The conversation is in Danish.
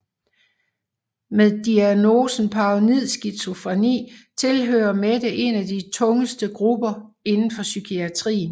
Med diagnosen paranoid skizofreni tilhører Mette en af de tungeste grupper inden for psykiatrien